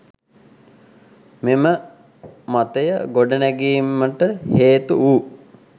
මෙම මතය ගොඩනැඟීමට හේතු වූ